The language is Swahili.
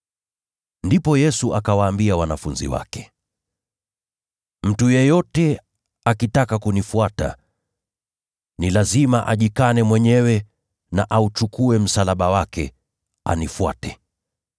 Ndipo Yesu akawaambia wanafunzi wake, “Mtu yeyote akitaka kunifuata, ni lazima ajikane mwenyewe, auchukue msalaba wake, anifuate.